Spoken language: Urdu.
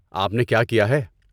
آپ نے کیا کِیا ہے؟